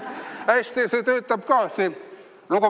See töötab ka.